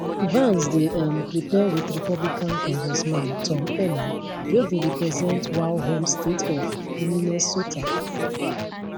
vance dey um prepare wit republican congressman tom emmer wey dey represent wal home state of minnesota